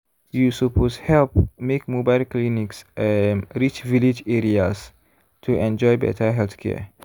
you suppose help make mobile clinics um reach village areas to enjoy better healthcare.